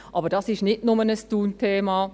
Aber das ist nicht nur ein Thun-Thema;